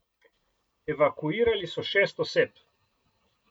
Evakuirali so šest oseb.